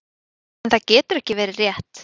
En það getur ekki verið rétt.